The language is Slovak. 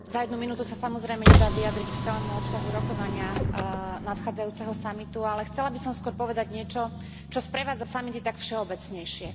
Za jednu minútu sa samozrejme nedá vyjadriť k celému obsahu rokovania nadchádzajúceho samitu, ale chcela by som skôr povedať niečo, čo sprevádza samity tak všeobecnejšie.